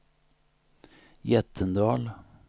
Jättendal